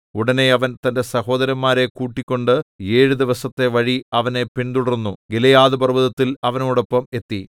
ഉടനെ അവൻ തന്റെ സഹോദരന്മാരെ കൂട്ടിക്കൊണ്ട് ഏഴു ദിവസത്തെ വഴി അവനെ പിന്തുടർന്നു ഗിലെയാദ്പർവ്വതത്തിൽ അവനോടൊപ്പം എത്തി